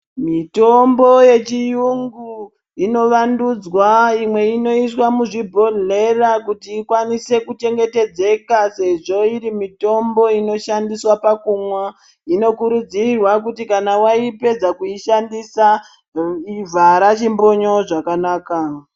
Mitombo yechiyungu inovandudzwa imwe inoiswa muzvibhedhlera kuti ilwanise kuchengetedzeka sezvo iri mitombo inoshandiswa pakumwa inokurudzirwa kuti kana waipedza kuishandisa vhara chimbonyo zvakanaka.